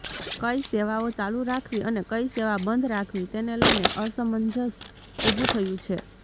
કંઇ સેવાઓ ચાલુ રાખવી અને કંઇ સેવા બંધ રાખવી તેને લઇને અસમંજસ ઉભું થયું છે